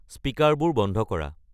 স্পীকাৰবোৰ বন্ধ কৰা